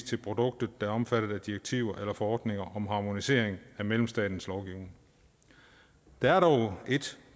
til produkter der er omfattet af direktiver eller forordninger om harmonisering af medlemsstaternes lovgivning der er dog et